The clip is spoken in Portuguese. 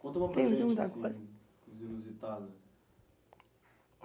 Conta para gente, Tem muita coisa, Os inusitados.